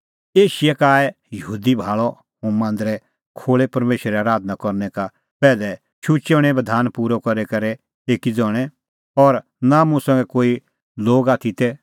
एशिया का आऐ दै यहूदी भाल़अ हुंह मांदरे खोल़ै परमेशरे आराधना करनै का पैहलै शुचै हणैंओ बधान पूरअ करी करै एक्कै ज़ण्हअ और नां मुंह संघै कोई लोग आथी तै